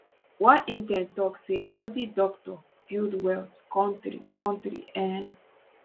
one intern tok say healthy doctor build health kontri kontri um